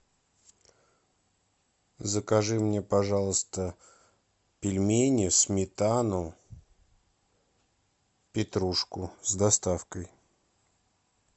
закажи мне пожалуйста пельмени сметану петрушку с доставкой